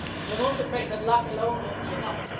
But I'm also afraid that luck alone won't be enough.